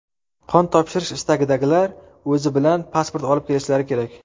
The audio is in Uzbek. Qon topshirish istagidagilar o‘zi bilan pasport olib kelishlari kerak.